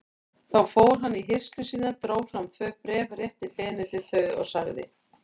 Þá fór hann í hirslur sínar, dró fram tvö bréf, rétti Benedikt þau og sagði